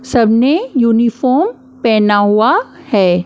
सबने यूनिफॉर्म पहना हुआ है।